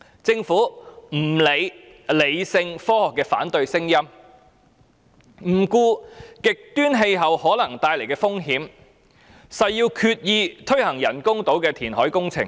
政府不理會理性科學的反對聲音，不顧極端氣候可能帶來的風險，誓要推行人工島的填海工程。